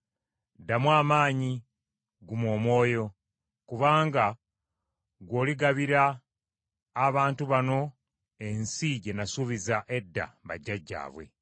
“Ddamu amaanyi, guma omwoyo; kubanga ggwe oligabira abantu bano ensi gye nasuubiza edda bajjajjaabwe.